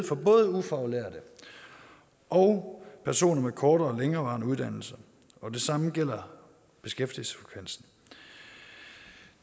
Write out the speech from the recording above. for både ufaglærte og personer med korte og længerevarende uddannelser og det samme gælder beskæftigelsesfrekvensen